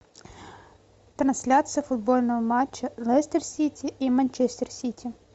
трансляция футбольного матча лестер сити и манчестер сити